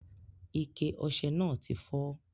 Ike ose náà ti fó